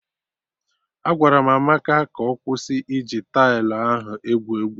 Agwara m Amaka ka ọ kwụsị iji tailụ ahụ egwu egwu!